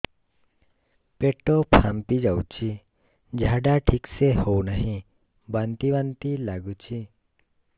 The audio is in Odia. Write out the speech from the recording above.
ପେଟ ଫାମ୍ପି ଯାଉଛି ଝାଡା ଠିକ ସେ ହଉନାହିଁ ବାନ୍ତି ବାନ୍ତି ଲଗୁଛି